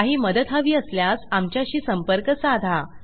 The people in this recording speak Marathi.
काही मदत हवी असल्यास आमच्याशी संपर्क साधा